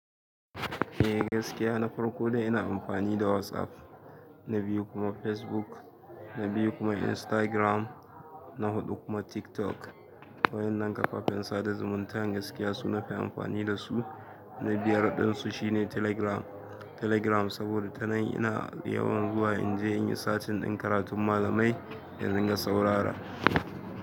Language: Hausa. Eh gaskiya na farko dai ina amfani da WhatsApp, na biyu kuma Facebook, na biyu kuma Instagram, na huɗu kuma TikTok. Wa'innan kafafen sada zumuntan gaskiya su nafi amfani dasu. Na biyar ɗinsu shine Telegram. Telegram saboda tana nan ina da yawan zuwa inje inyi searching ɗin karatun malamai in ringa saurara.